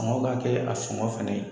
Maaw ka kɛlɛ a sogɔn fɛnɛ ye